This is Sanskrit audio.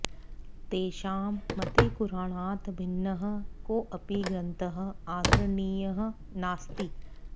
तेषां मते कुराणात् भिन्नः कोऽपि ग्रन्थः आदरणीयः नास्ति